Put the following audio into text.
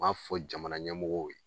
U b'a fɔ jamana ɲɛmɔgɔw ye